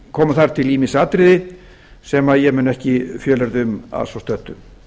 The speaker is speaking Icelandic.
komu þar til ýmis atriði sem ég mun ekki fjölyrða um að svo stöddu